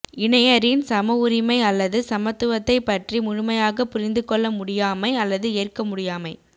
இணையரின் சம உரிமை அல்லது சமத்துவத்தைப் பற்றி முழுமையாகப் புரிந்துகொள்ள முடியாமை அல்லது ஏற்க முடியாமை